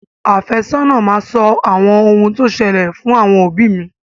Àfẹ́sọ́nà máa sọ ohun tó ṣẹlẹ̀ fún àwọn òbí mi.